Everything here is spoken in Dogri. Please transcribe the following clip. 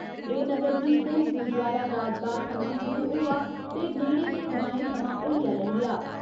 एह् नगर कीर्तन गुरुद्वारा राजबाग थमां शुरु होआ ते नेड़े दे ग्राएं थमां होइयै लंग्घेआ।